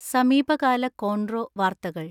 സമീപകാല കോൺറോ വാർത്തകൾ